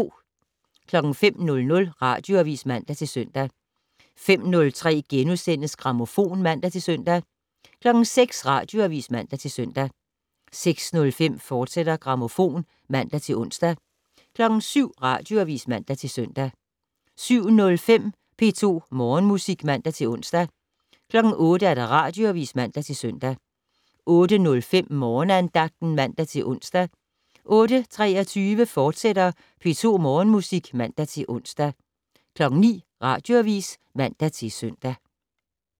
05:00: Radioavis (man-søn) 05:03: Grammofon *(man-søn) 06:00: Radioavis (man-søn) 06:05: Grammofon, fortsat (man-ons) 07:00: Radioavis (man-søn) 07:05: P2 Morgenmusik (man-ons) 08:00: Radioavis (man-søn) 08:05: Morgenandagten (man-ons) 08:23: P2 Morgenmusik, fortsat (man-ons) 09:00: Radioavis (man-søn)